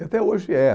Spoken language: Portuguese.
E até hoje é